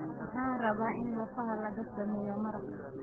Waxaan rabaa in lafaha laga sameeyo maraq